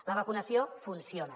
la vacunació funciona